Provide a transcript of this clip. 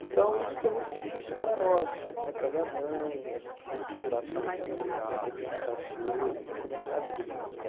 Então isso foi muito difícil para nós, né para minha mãe, a gente reestruturar a família né, repensar as coisas, né começar a vida de novo.